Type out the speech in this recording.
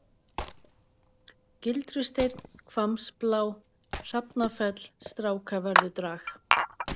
Gildrusteinn, Hvammsblá, Hrafnafell, Strákavörðudrag